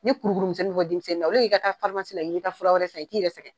Ni kuru kuru misɛnin bɛ bɔ denmisɛnnin na i ka taa k'i bɛ taa fura wɛrɛ san i t'i yɛrɛ sɛgɛn.